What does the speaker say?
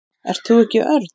Ert þú ekki Örn?